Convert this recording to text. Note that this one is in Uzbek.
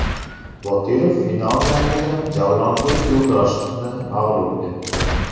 Boturov final jangida Javlonbek Yo‘ldoshevni mag‘lub etdi.